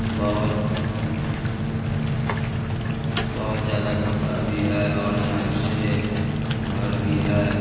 बहोत बहोत ज्यादा कपड़ा भी है और साइड से घर भी है।